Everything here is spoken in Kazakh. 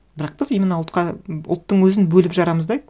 бірақ біз именно ұлтқа ұлттың өзін бөліп жарамыз да